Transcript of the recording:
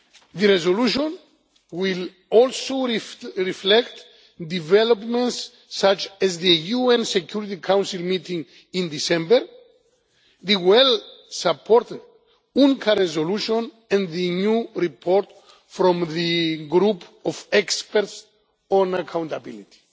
The resolution will also reflect developments such as the UN Security Council meeting in December, the well supported UNGA resolution and the new report from the group of experts on accountability.